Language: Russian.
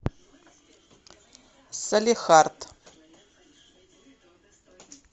салехард